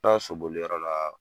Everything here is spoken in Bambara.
Na soboli yɔrɔ la.